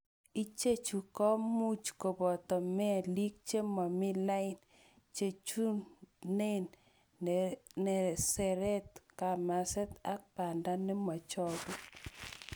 Ichechu komuch koboto melik chemomi lain, chuchunet neseretat, kamaset ak banda nemochogu.